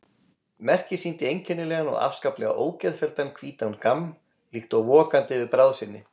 Merkið sýndi einkennilegan og afskaplega ógeðfelldan hvítan gamm, líkt og vokandi yfir bráð sinni.